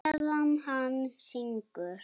Meðan hann syngur.